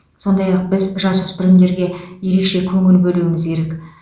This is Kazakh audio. сондай ақ біз жасөспірімдерге ерекше көңіл бөлуіміз керек